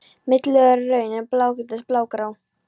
Millilög eru rauð, en blágrýtislög blágrá.